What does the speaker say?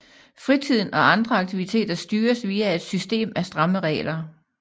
Fritiden og andre aktiviteter styres via et system af stramme regler